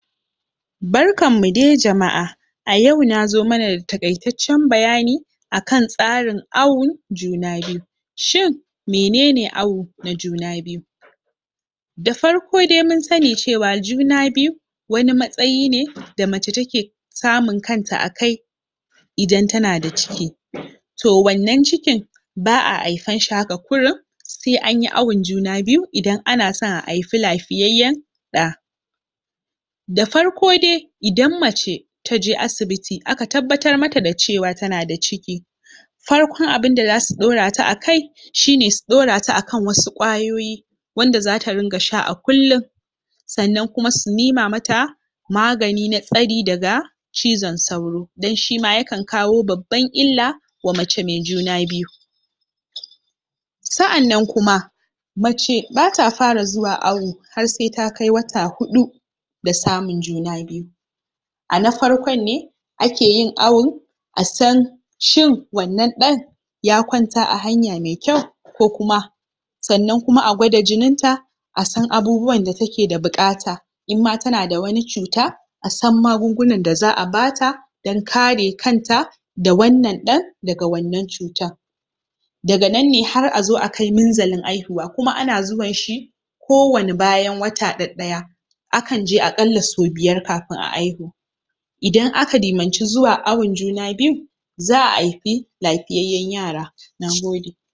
Barkan mu dai jama'a. A yau nazo mana da taƙaitaccen bayani, a kan tsarin awon juna biyu. Shin, mene ne awo na juna biyu. Da farko dai mun sani cewa juna biyu, wani matsayi ne da mace ta ke samun kanta a kai, idan tana da ciki. To, wannan cikin ba a aifanshi haka kurum, sai anyi awon juna biyu, idan ana so a haifi lafiyayyen ɗa. Da farko dai, idan mace taje asibiti aka tabbatar mata da cewa tana da ciki, farkon abinda zasu ɗaura ta a kai, shine su ɗaura ta a kan wasu ƙwayoyi, wanda zata ringa sha a kullum, sannan kuma su nema mata magani, na tsari daga cizon sauro, don shima ya kan kawo baban illa, wa mace mai juna biyu. Sa'annan kuma, mace bata fara zuwa awo, har sai ta kai wata huɗu da samun juna biyu. A na farkon ne ake yin awon, a san shin, wannan ɗan ya kwanta a hanya mai kyau, ko kuma. Sannan kuma agwada jinin ta, a san abubuwan da take da buƙata, inma tana da wani cuta, a san magungunan da za a bata, dan kare kanta da wannan ɗan, daga wannan cutan. Daga nan ne har azo a kai minzalin aihuwa, kuma an zuwan shi ko wani bayan wata ɗaɗɗaya, a kan je aƙalla sau biyar kafin a aihu. Idan aka dimanci zuwa awon juna biyu, za a aifi lafiyayyen yara. Nagode.